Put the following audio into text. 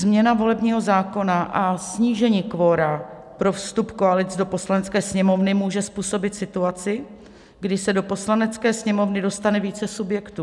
Změna volebního zákona a snížení kvora pro vstup koalic do Poslanecké sněmovny může způsobit situaci, kdy se do Poslanecké sněmovny dostane více subjektů.